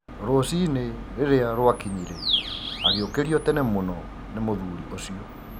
Rũcinĩ rirĩa rwakinyire agĩũkĩrio tene mũno nĩ mũthuri ũcio.